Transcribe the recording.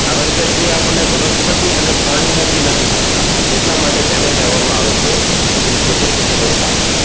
કારણ કે તે આપણને વનસ્પતિ અને પ્રાણી માંથી નથી મળતા એટલા માટે તેને કહેવા માં આવે છે synthetic રેસા